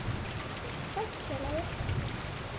Sæll, félagi